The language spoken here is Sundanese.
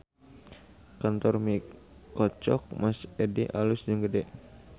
Kantor Mie Koclok Mas Edi alus jeung gede